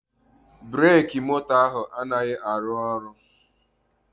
Breki moto ahụ anaghị arụ ọrụ